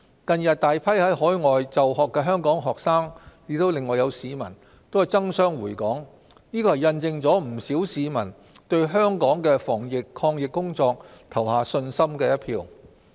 近日，大批在海外留學的香港學生和市民爭相回港，印證不少市民也對香港的防疫抗疫工作投下信心一票。